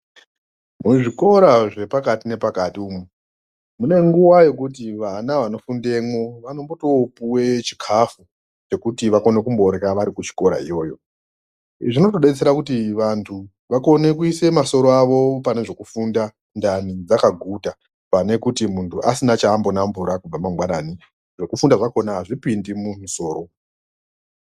Muzvikora zvepakati nepakati umu mune nguva yekuti vana vanofundemwo vanotopuve chikafu. Chekuti vakone kumborya vari kuchikora iyoyo. Zvinotobetsera kuti vantu vakone kuise masoro avo panezvekufunda ndani dzakaguta. Pane kuti muntu asina chaambonambura kubva mangwanani zvekufunda kwakona hazvipindi mumusoro.